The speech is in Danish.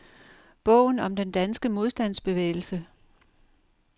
Bogen om den danske modstandsbevægelse.